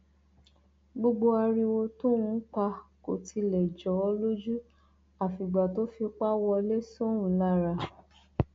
gbogbo ariwo tóun ń pa kò tilẹ jọ ọ lójú àfìgbà tó fipá wọlé sóun lára